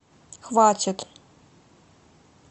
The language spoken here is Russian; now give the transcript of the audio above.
хватит